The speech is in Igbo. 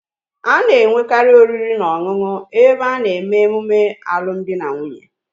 A na-enwekari oriri na onunu ebe a na-eme emume alum di na nwunye